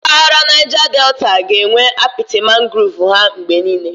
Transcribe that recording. Mpaghara ndi Naija Deta ga-enwe apiti mangrovu ha mgbe niile.